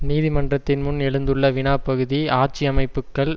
நீதிமன்றத்தின் முன் எழுந்துள்ள வினா பகுதி ஆட்சி அமைப்புக்கள்